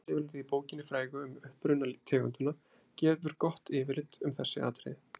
Efnisyfirlitið í bókinni frægu Um uppruna tegundanna gefur gott yfirlit um þessi atriði.